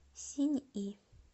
синьи